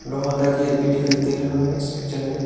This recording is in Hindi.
वहां का गेट भी दिखाई दे रहा है इस पिक्चर में।